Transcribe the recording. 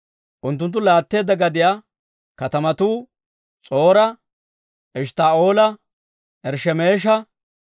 Unttunttu laatteedda gadiyaa katamatuu S'or"a, Eshttaa'oola, Irshshemeesha,